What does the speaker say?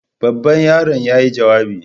Babban yaron yayi jawabi.